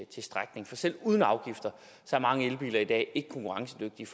til strækning for selv uden afgifter er mange elbiler i dag ikke konkurrencedygtige